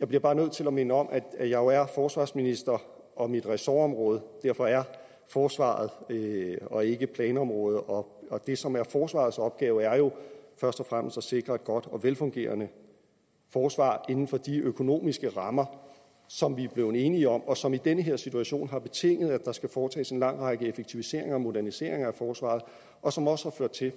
jeg bliver bare nødt til at minde om at jeg jo er forsvarsminister og mit ressortområde derfor er forsvaret og ikke planområdet og det som er forsvarets opgave er jo først og fremmest at sikre et godt og velfungerende forsvar inden for de økonomiske rammer som vi er blevet enige om og som i den her situation har betinget at der skal foretages en lang række effektiviseringer og moderniseringer af forsvaret og som også